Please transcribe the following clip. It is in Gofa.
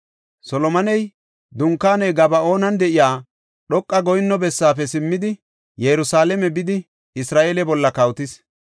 Solomoney Dunkaaney Gaba7oonan de7iya, dhoqa goyinno bessaafe simmidi, Yerusalaame bidi Isra7eele bolla kawotis.